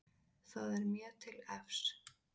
Það er mér til efs.